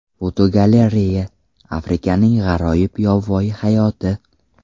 Fotogalereya: Afrikaning g‘aroyib yovvoyi hayoti.